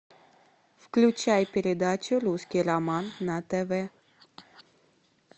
включай передачу русский роман на тв